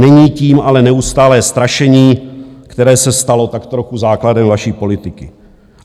Není tím ale neustálé strašení, které se stalo tak trochu základem vaší politiky.